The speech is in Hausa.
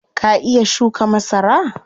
Ka iya shuka masara?